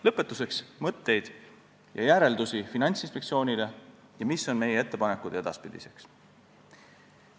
Lõpetuseks mõtteid Finantsinspektsiooni järelduste kohta ja sellest, mis on meie ettepanekud edaspidiseks.